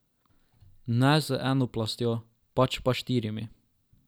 Ne z eno plastjo, pač pa štirimi!